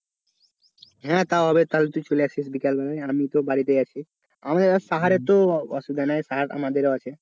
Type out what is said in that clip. হ্যাঁ তাও হবে তাহলে তুই চলে আসিস বিকাল বেলায় আর আমি তো বাড়িতেই আছি। আমি তো সাহারএর অসুবিধা নেই সাহার তো আমাদেরও আছে.